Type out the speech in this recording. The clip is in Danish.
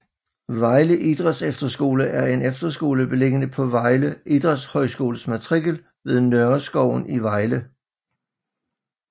Vejle Idrætsefterskole er en efterskole beliggende på Vejle Idrætshøjskoles matrikel ved Nørreskoven i Vejle